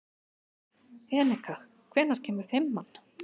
Eneka, hvenær kemur fimman?